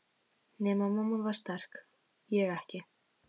Nema mamma var sterk, ég ekki.